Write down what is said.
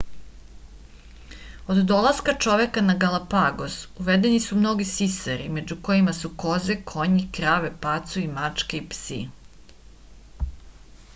od dolaska čoveka na galapagos uvedeni su mnogi sisari među kojima su koze konji krave pacovi mačke i psi